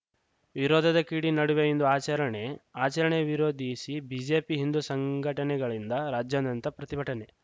ವಿರೋಧದ ಕಿಡಿ ನಡುವೆ ಇಂದು ಆಚರಣೆ ಆಚರಣೆ ವಿರೋಧಿಸಿ ಬಿಜೆಪಿ ಹಿಂದು ಸಂಘಟನೆಗಳಿಂದ ರಾಜ್ಯಾನ್ಯಂತ ಪ್ರತಿಭಟನೆ